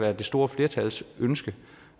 er det store flertals ønske